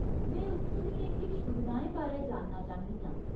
में उत्थूं दियें किश सुविधाएं बारै जानना चाह्न्नी आं।